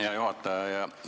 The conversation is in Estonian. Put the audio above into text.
Hea juhataja!